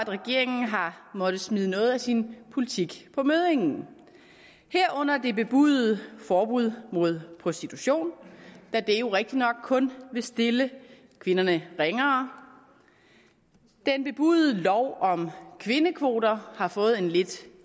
regeringen har måttet smide noget af sin politik på møddingen herunder det bebudede forbud mod prostitution da det jo rigtignok kun vil stille kvinderne ringere den bebudede lov om kvindekvoter har fået en lidt